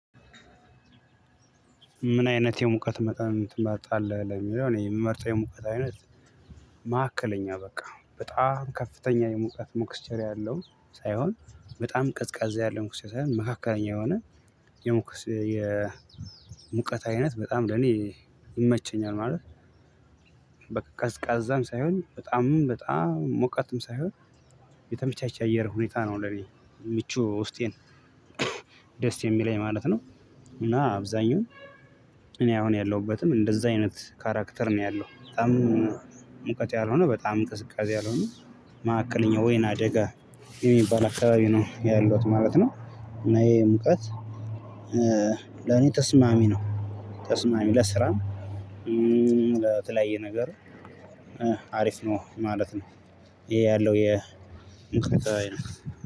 ምን አይነት የሙቀት መጠን ትመርጣለህ? ለሚለው እኔ የምመርጠው የሙቀት አይነት መካከለኛ በቃ በጣም ከፍተኛ የሙቀት ሚክስቸር ያለው ሳይሆን በጣም ቅዝቃዜ ያለው ሚክስቸር መካከለኛ የሆነ የሙቀት አይነት በጣም ለኔ ይመቸኛል። ማለት በቃ ቀዝቃዛም ሳይሆን በጣምም በጣም ሞቃትም ሳይሆን የተመቻቸ አየር ሁኔታ ነው ለኔ ምቹ ውስጤን ደስ የሚለኝ ማለት ነው። እና አብዛኛው እኔ አሁን ያለሁበትም እንደዛ አይነት ካራክተር ነው ያለው በጣም ሙቀት ያልሆነ በጣም ቅዝቃዜ ያልሆነ መሃከለኛ ወይናደጋ የሚባል አካባቢ ነው ያለሁት ማለት ነው። እና ይሄ ሙቀት ለኔ ተስማሚ ነው። ተስማሚ ለስራም ለተለያየ ነገር አሪፍ ነው ማለት ነው። ይሄ ያለው የ ሙቀት አይነት